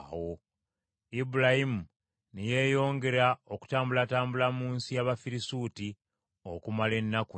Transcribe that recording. Ibulayimu ne yeeyongera okutambulatambula mu nsi y’Abafirisuuti okumala ennaku nnyingi.